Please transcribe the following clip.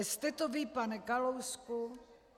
Jste to vy, pane Kalousku.